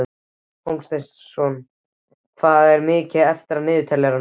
Hólmsteinn, hvað er mikið eftir af niðurteljaranum?